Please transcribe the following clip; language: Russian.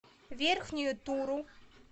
верхнюю туру